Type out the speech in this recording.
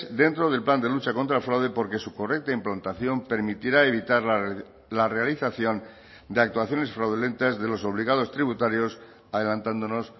dentro del plan de lucha contra el fraude porque su correcta implantación permitirá evitar la realización de actuaciones fraudulentas de los obligados tributarios adelantándonos